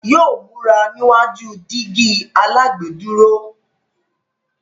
Yóò múra níwájú dígí alágbèédúró.